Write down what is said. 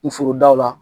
N forodaw la